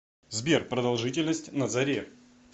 сбер продолжительность на заре